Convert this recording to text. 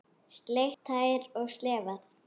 Sleikt tær og slefað.